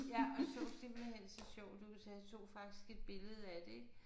Ja og så simpelthen så sjovt ud så jeg tog faktisk et billede af det ik